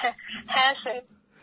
হ্যাঁ স্যার